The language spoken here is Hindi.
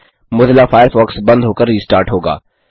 मोज़िला फ़ायरफ़ॉक्स बंद होकर रिस्टार्ट होगा